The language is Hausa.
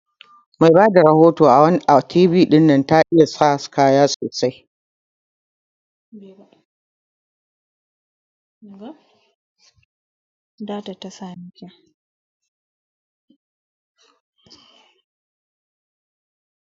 Mai Bada rahoto na T V dinnan ta iya sa kaya sosai.